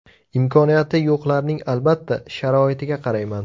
Imkoniyati yo‘qlarning albatta, sharoitiga qarayman.